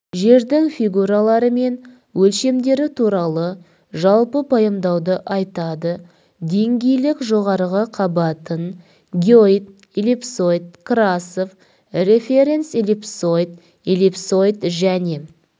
жердің фигуралары мен өлшемдері туралы жалпы пайымдауды айтады деңгейлік жоғары қабатын геоид эллипсоид красов референц-эллипсоид эллипсоид және